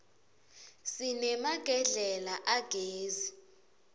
sinemagedlela agezi